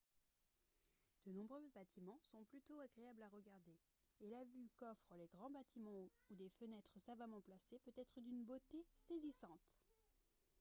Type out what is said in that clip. de nombreux bâtiments sont plutôt agréables à regarder et la vue qu'offrent les grands bâtiments ou des fenêtres savamment placées peut être d'une beauté saisissante